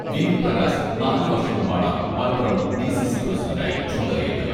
V.V Prakash നാലു വർഷം മുമ്പാണ് മലപ്പുറം ഡി.സി.സി പ്രസിഡണ്ടായി ചുമതലയേറ്റത്.